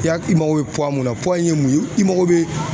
I ya i mako be mun na ye mun ye i mako be